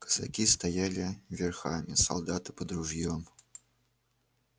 казаки стояли верхами солдаты под ружьём